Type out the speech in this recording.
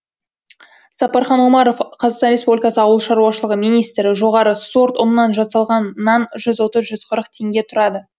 сапархан омаров қазақстан республикасы ауыл шаруашылығы министрі жоғары сорт ұннан жасалған нан жүз отыз жүз қырық теңге тұрады